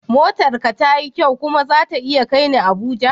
Motar ka tayi kyau kuma zata iya kai ni Abuja?